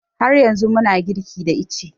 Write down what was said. Har yanzu muna girki da ice